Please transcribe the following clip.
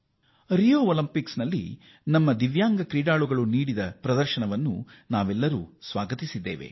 ರಿಯೋ Paralympics ನಲ್ಲಿ ನಮ್ಮ ದೇಶದ ದಿವ್ಯಾಂಗದವರು ಮಾಡಿದ ಸಾಧನೆಯನ್ನು ನಾವೆಲ್ಲರೂ ಶ್ಲಾಘಿಸಿದ್ದೇವೆ